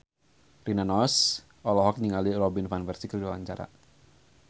Rina Nose olohok ningali Robin Van Persie keur diwawancara